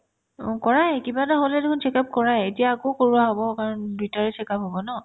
অ, কৰাই কিবা এটা হ'লে দেখুন check up কৰাই এতিয়া আকৌ কৰোৱা হ'ব কাৰণ দুইতাৰে check up হ'ব ন